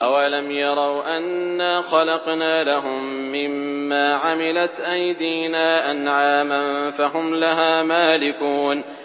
أَوَلَمْ يَرَوْا أَنَّا خَلَقْنَا لَهُم مِّمَّا عَمِلَتْ أَيْدِينَا أَنْعَامًا فَهُمْ لَهَا مَالِكُونَ